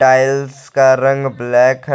Tiles का रंग black है।